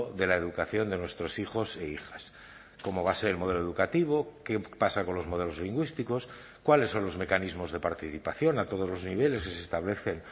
de la educación de nuestros hijos e hijas cómo va a ser el modelo educativo qué pasa con los modelos lingüísticos cuáles son los mecanismos de participación a todos los niveles que se establecen